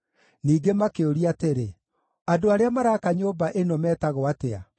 Ningĩ makĩũria atĩrĩ, “Andũ arĩa maraaka nyũmba ĩno metagwo atĩa?”